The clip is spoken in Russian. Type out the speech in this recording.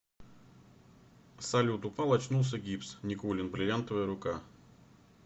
салют упал очнулся гипс никулин бриллиантовая рука